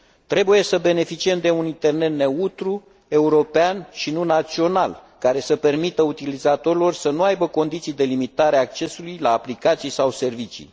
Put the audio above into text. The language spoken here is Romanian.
Trebuie să beneficiem de un internet neutru, european, și nu național, care să permită utilizatorilor să nu aibă condiții de limitare a accesului la aplicații sau servicii.